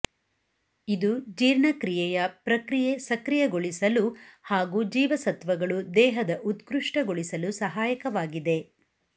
ಇದು ಜೀರ್ಣಕ್ರಿಯೆಯ ಪ್ರಕ್ರಿಯೆ ಸಕ್ರಿಯಗೊಳಿಸಲು ಹಾಗೂ ಜೀವಸತ್ವಗಳು ದೇಹದ ಉತ್ಕೃಷ್ಟಗೊಳಿಸಲು ಸಹಾಯಕವಾಗಿದೆ